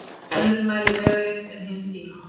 Önnur mælir vegalengd en hin tíma.